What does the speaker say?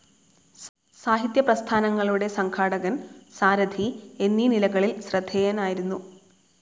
സാഹിത്യ പ്രസ്ഥാനങ്ങളുടെ സംഘാടകൻ, സാരഥി എന്നീ നിലകളിൽ ശ്രദ്ധേയനായിരുന്നു.